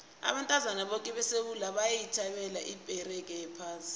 abantu boke besewula bayithabela ibheqere yephasi